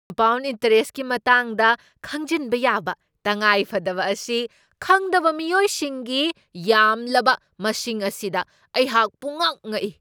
Compound ꯏꯟꯇꯔꯦꯁ꯭ꯠꯀꯤ ꯃꯇꯥꯡꯗ ꯈꯪꯖꯤꯟꯕ ꯌꯥꯕ ꯇꯉꯥꯏꯐꯗꯕ ꯑꯁꯤ ꯈꯪꯗꯕ ꯃꯤꯑꯣꯏꯁꯤꯡꯒꯤ ꯌꯥꯝꯂꯕ ꯃꯁꯤꯡ ꯑꯁꯤꯗ ꯑꯩꯍꯥꯛ ꯄꯨꯡꯉꯛ ꯉꯛꯏ ꯫